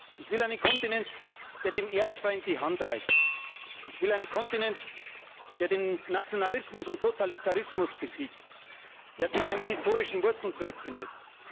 Ich will einen Kontinent, der dem Erzfeind die Hand reicht. Ich will einen Kontinent, der den Nationalismus und den Totalitarismus besiegt, der zu seinen historischen Wurzeln zurückfindet.